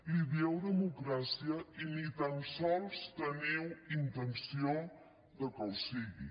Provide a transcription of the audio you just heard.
li dieu democràcia i ni tan sols teniu intenció de que ho sigui